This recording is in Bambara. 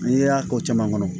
N'i y'a ko caman kɔnɔ